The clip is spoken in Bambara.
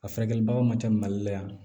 A furakɛli baganw man ca mali la yan